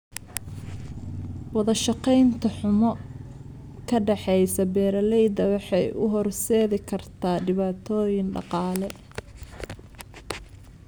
Wadashaqeyn xumo ka dhaxaysa beeralayda waxay u horseedi kartaa dhibaatooyin dhaqaale.